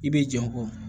I bɛ jɔn